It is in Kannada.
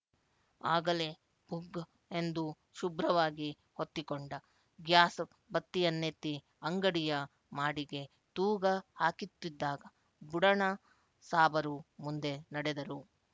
ಆಗಲೇ ಭುಗ್ ಎಂದು ಶುಭ್ರವಾಗಿ ಹೊತ್ತಿಕೊಂಡ ಗ್ಯಾಸ್‍ ಬತ್ತಿಯನ್ನೆತ್ತಿ ಅಂಗಡಿಯ ಮಾಡಿಗೆ ತೂಗ ಹಾಕಿತ್ತಿದ್ದಾಗ ಬುಡಣ ಸಾಬರು ಮುಂದೆ ನಡೆದರು